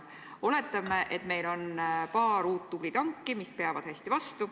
Oletame, et meil on paar uut tublit tanki, mis peavad hästi vastu.